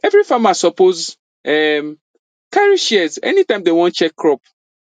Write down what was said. every farmer suppose um carry shears anytime dem wan check crop